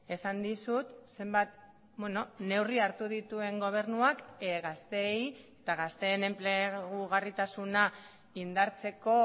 esan dizut zenbat neurri hartu dituen gobernuak gazteei eta gazteen enplegugarritasuna indartzeko